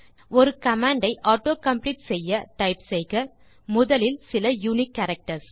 ஒரு கமாண்ட் ஐ ஆட்டோகாம்ப்ளீட்டு செய்ய டைப் செய்க முதலில் சில யுனிக் கேரக்டர்ஸ்